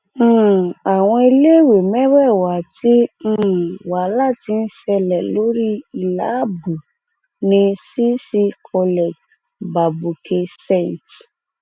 um ọmọ bíbí ìlú ìlọrin láti wọọdù ojúẹkùnsárúmì um níjọba ìbílẹ ìwọoòrùn ìlorin ni ọmọbìnrin náà